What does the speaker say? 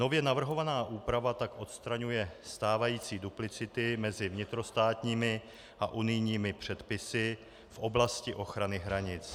Nově navrhovaná úprava tak odstraňuje stávající duplicity mezi vnitrostátními a unijními předpisy v oblasti ochrany hranic.